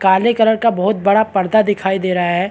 काले कलर का बहुत बड़ा पर्दा दिखाई दे रहा हैं।